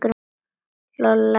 Lolla er ágæt.